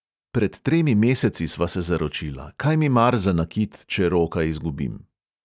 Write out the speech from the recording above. Pred tremi meseci sva se zaročila, kaj mi mar za nakit, če roka izgubim.